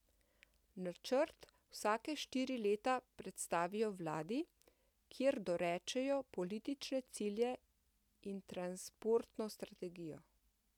Načrt vsake štiri leta predstavijo vladi, kjer dorečejo politične cilje in transportno strategijo.